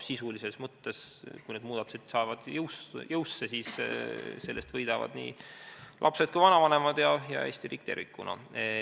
Sisulises mõttes, kui need muudatused saavad jõusse, siis sellest võidavad nii lapsed kui ka vanavanemad ja Eesti riik tervikuna.